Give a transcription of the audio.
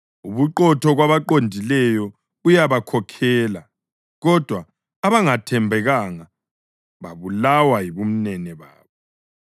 Ubuqotho kwabaqondileyo buyabakhokhela, kodwa abangathembekanga babulawa yibumenemene babo.